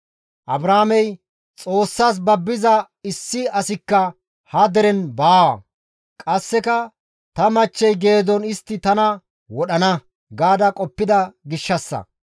Abrahaamey, « ‹Xoossas babbiza issi asikka ha deren baawa; qasseka ta machchey geedon istti tana wodhana› gaada qoppida gishshassa.